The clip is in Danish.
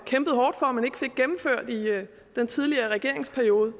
kæmpede hårdt for men ikke fik gennemført i den tidligere regeringsperiode